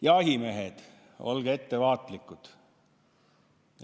Jahimehed, olge ettevaatlikud!